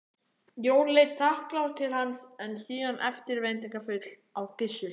Jóra leit þakklát til hans en síðan eftirvæntingarfull á Gissur.